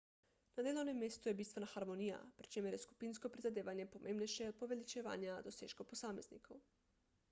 na delovnem mestu je bistvena harmonija pri čemer je skupinsko prizadevanje pomembnejše od poveličevanja dosežkov posameznikov